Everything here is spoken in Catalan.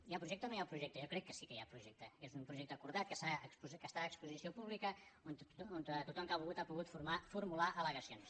hi ha projecte o no hi ha projecte jo crec que sí que hi ha projecte que és un projecte acordat que està a exposició pública on tothom que ha volgut ha pogut formular al·legacions